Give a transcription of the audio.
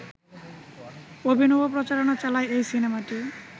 অভিনব প্রচারণা চালায় এই সিনেমাটি